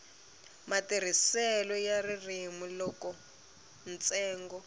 matirhiselo ya ririmi loko ntsengo